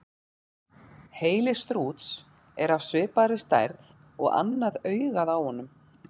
Heili strúts er af svipaði stærð og annað augað á honum.